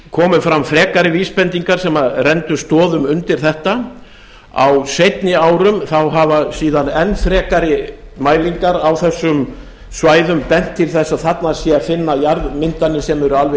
komu fram frekari vísbendingar sem renndu stoðum undir þetta á seinni árum þá hafa síðan enn frekari mælingar á þessum svæðum bent til þess að þarna sé að finna jarðmyndanir sem eru alveg